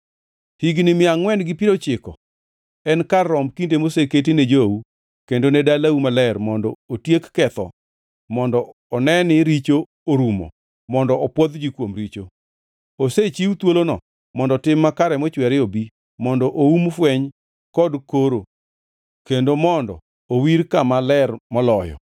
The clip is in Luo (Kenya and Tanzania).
“Higni mia angʼwen gi piero ochiko en kar romb kinde moseketi ne jou kendo ne dalau maler mondo otiek ketho mondo one ni richo orumo mondo opwodh ji kuom richo. Osechiw thuolono mondo tim makare mochwere obi, mondo oum fweny kod koro, kendo mondo owir Kama Ler Moloyo.